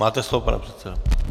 Máte slovo, pane předsedo.